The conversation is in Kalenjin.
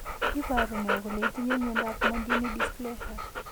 Iporu ne kole itinye miondap Mondini dysplasia?